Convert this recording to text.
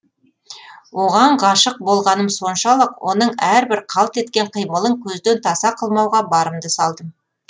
оған ғашық болғаным соншалық оның әрбір қалт еткен қимылын көзден таса қылмауға барымды салдым